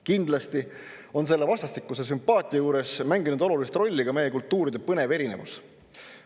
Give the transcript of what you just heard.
Kindlasti on selle vastastikuse sümpaatia juures mänginud olulist rolli meie kultuuride põnev erinevus.